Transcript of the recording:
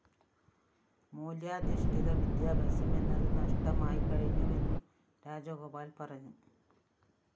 മൂല്യാധിഷ്ഠിത വിദ്യാഭ്യാസം എന്നത് നഷടമായി കഴിഞ്ഞുവെന്നും രാജഗോപാല്‍ പറഞ്ഞു